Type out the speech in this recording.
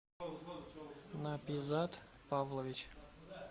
напизад павлович